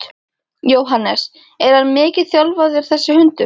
Jóhannes: Er hann mikið þjálfaður þessi hundur?